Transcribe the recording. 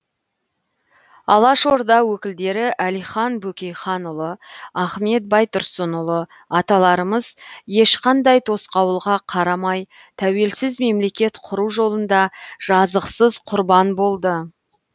алашорда өкілдері әлихан бөкейханұлы ахмет байтұрсынұлы аталарымыз ешқандай тосқауылға қарамай тәуелсіз мемлекет құру жолында жазықсыз құрбан болды